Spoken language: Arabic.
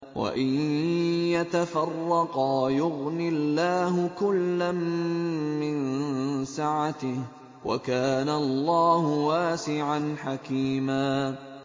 وَإِن يَتَفَرَّقَا يُغْنِ اللَّهُ كُلًّا مِّن سَعَتِهِ ۚ وَكَانَ اللَّهُ وَاسِعًا حَكِيمًا